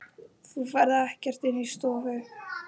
Þú ferð ekkert inn í stofu!